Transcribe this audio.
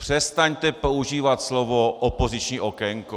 Přestaňte používat slovo opoziční okénko.